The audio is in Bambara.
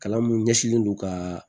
Kalan mun ɲɛsinnen do ka